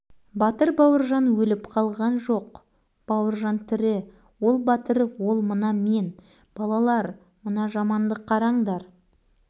шоқан бауыржанды құлаштап құлақ шекеден көздеп тұрып-ақ ұрып еді қолы ауаны осып екпінімен өзі ұшып түсті